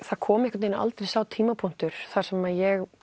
það kom aldrei sá tímapunktur þar sem ég